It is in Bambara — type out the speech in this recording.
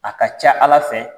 A ka ca ala fɛ